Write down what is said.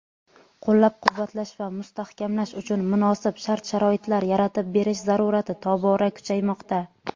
qo‘llab-quvvatlash va mustahkamlash uchun munosib shart-sharoitlar yaratib berish zarurati tobora kuchaymoqda.